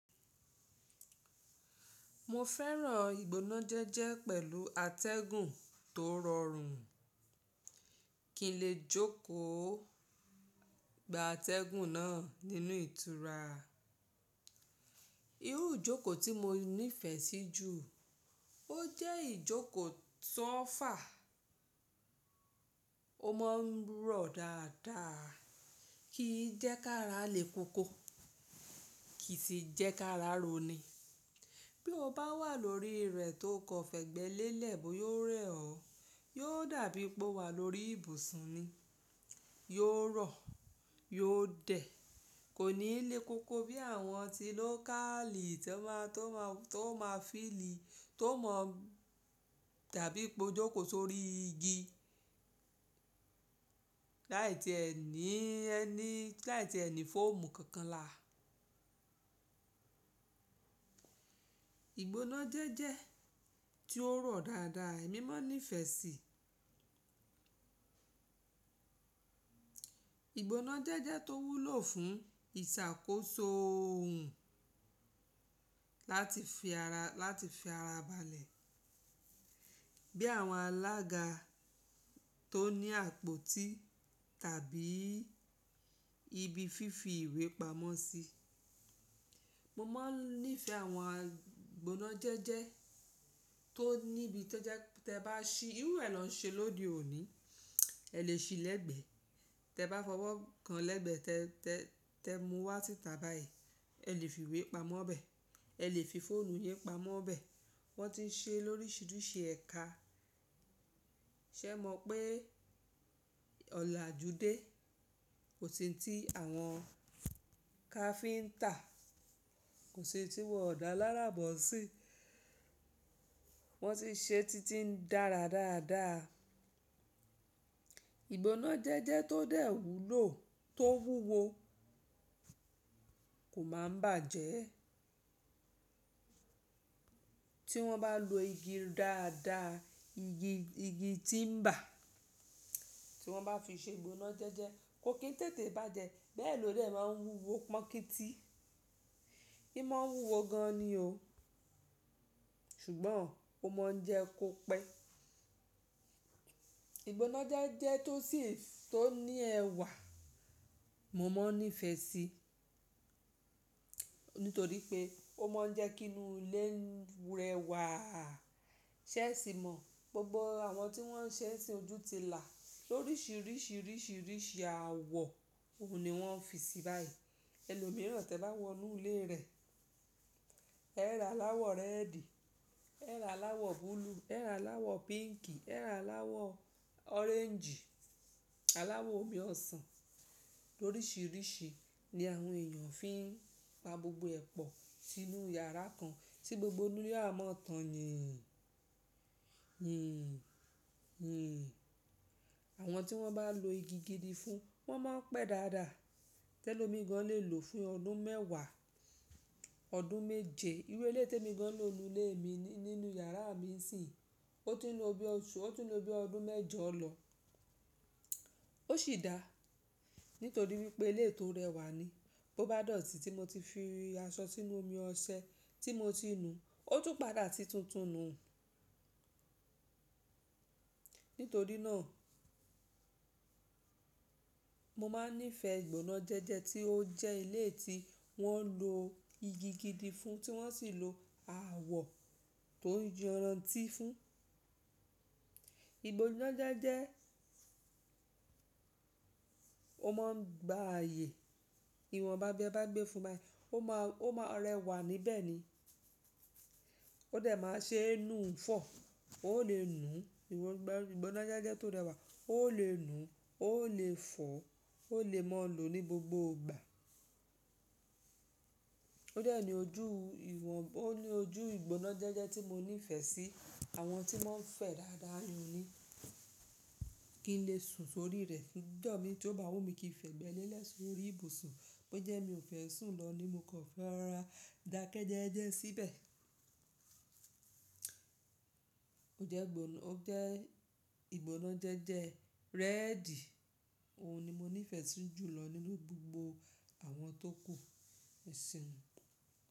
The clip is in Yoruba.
Mo fẹ́ràn ìgbóná jẹ́jẹ́ pẹ̀lú atẹ́gùn tó rọrùn, kí n lè jókòó gba atẹ́gùn náà nínú ìtura. Irú ìjókòó tí mo nífẹ̀ẹ́ sí jù, ó jẹ́ ìjókòó to ofà, ó mọ n rọ̀ dáadáa, kì í jẹ́ ká rá le koko, kì í sì jẹ́ ká rá roní. Bí o bá wà lórí rẹ̀ tó kọ fẹ̀gbẹ́ lélẹ̀, bó yóò rẹ̀ ọ́, yóò dàbí pé ó wà lórí ibùsùn ni. Yóò rọ̀, yóò dẹ̀, kò ní lé koko bí àwọn ti lókaali tó máa, tó máa, tó máa fíìlì, tó mọ dàbí pé o jókòó sórí igi, láì tí ẹ ní, ẹ ní, láì tí ẹ ní fóòmù kankan là. Ìgbóná jẹ́jẹ́ tí ó rọ̀ dáadáa èmi mo ń nífẹ̀ẹ́ sí. Ìgbóná jẹ́jẹ́ tó wúlò fún ìṣàkóso ohun, láti fi ara, láti fi ara balẹ̀, bí àwọn alága tó ní àpótí tàbí ibi fífi ìwé pamọ́ sí. Mo máa ń nífẹ̀ẹ́ àwọn ìgbóná jẹ́jẹ́ tó níbi tó jẹ́ te bá ṣí, irú ẹ lọ́ n ṣe lóde òní, ẹ lè ṣí lẹ́gbẹ̀ẹ́, te bá fọwọ́ kan lẹ́gbẹ̀ẹ́ tẹ, tẹ, tẹ mú wá síta báyìí, ẹ lè fi ìwé pamọ́ bẹ́ẹ̀, ẹ lè fi fóònù yẹn pamọ́ bẹ́ẹ̀. Wọ́n ti ń ṣe lóríṣiríṣi ẹ̀ka. Ṣé ẹ mọ̀ pé ọ̀lajúdé kò sì tí àwọn káfíntà, kò sì tí wọ ọ̀dà lára bọ́ sí i. Wọ́n sì ń ṣe títí ń dára dáadáa. Ìgbóná jẹ́jẹ́ tó dẹ̀ wúlò, tó wúwo kò máa ń bàjẹ́. Tí wọ́n bá lo igi dáadáa, igi, igi tímbà, tí wọ́n bá fi ṣe ìgbóná jẹ́jẹ́, kò kín tètè bàjẹ́, bẹ́ẹ̀ lóde máa ń wúwo pọ́n kí tì. Í mo ń wúwo gan ni o. Ṣùgbọ́n ó mọ ń jẹ́ kó pẹ́. Ìgbóná jẹ́jẹ́ tó sì, tó ní ẹwà mo mo ń nífẹ̀ẹ́ sí, nítorí pé ó mọ ń jẹ́ kí inú ilé rẹwà. Ṣé ẹ sì mọ̀? Gbogbo àwọn tí wọ́n ń ṣe sí ojú ti là lóríṣiríṣi, ríṣiríṣi àwọ̀ òun ni wọ́n fi sí báyìí. Ẹlo mìíràn tẹ bá wọ nú ilé rẹ̀, ẹ́ ra aláwọ̀ réèdì, ẹ́ ra aláwọ̀ búlúù, ẹ́ ra aláwọ̀ píǹkì, ẹ́ ra aláwọ̀ ọréńjì, aláwọ̀ omi ọsàn, lóríṣiríṣi ni àwọn èèyàn fi ń pa gbogbo ẹ̀pọ̀ sínú yàrá kan tí gbogbo inú ile a máa tàn yéè, yìn, yìn. Àwọn tí wọ́n bá lo igi gidi fún, wọ́n máa ń pẹ́ dáadáa. Tẹ́lòmí gan lè lò fún ọdún mẹ́wàá, ọdún méje. Irú eleyi te emi gan ń lò nínú ilé mi, nínú yàrá mi sì, ó ti ń lo bí oṣù, ó ti ń lo bí ọdún mẹ́jọ lọ. Ó sì dáa, nítorí wípé ilé tó rẹwà ni. Bo bá dọ̀tí tí mo ti fi aṣọ sínú omi ọṣẹ tí mo ti nu, ó tún padà ti tútù nù. Nítorí náà, mo máa ń nífẹ̀ẹ́ ìgbóná jẹ́jẹ́ tí ó jẹ́ ilé tí wọ́n lo igi gidi fún, tí wọ́n sì lo àwọ̀ tó ń jọrán ti fún. Ìgbóná jẹ́jẹ́, ó mo ń gba ààyè, ìwọ̀n bá biẹ́ bá gbé fún bayi, ó máa, ó máa rẹwà níbẹ̀ ni. Ó dẹ̀ máa ṣe inú fọ, ó lè nu, ìwọ̀n gbọ̀ǹ, ìgbóná jẹ́jẹ́ tó rẹwà, ó lè nu, ó lè fọ́, ó lè mo lò ní gbogbo ìgbà. Ó dẹ̀ ni ojú ìwọ̀n, ó ní ojú ìgbóná jẹ́jẹ́ tí mo nífẹ̀ẹ́ sí, àwọn tí wọ́n ń fẹ̀ dáadáa ni o ni. Kí n lè sùn sórí rẹ̀. Ǹjo mí tí ó bá wù mí kí n fẹ̀gbẹ́ lẹ́lẹ̀ sórí ibùsùn, bó jẹ́ mi ò fẹ́ sùn lọ́ ni mo kọ fẹ́ rora ìdákẹ́jẹ́jẹ́ síbẹ̀. Ó jẹ́ gbóná, ó jẹ́ ìgbóná jẹ́jẹ́ réèdì, òun ni mo nífẹ̀ẹ́ sí jù lọ nínú gbogbo àwọn tó kù e seun.